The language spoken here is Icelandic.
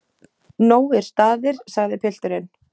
Nógir staðir, sagði pilturinn.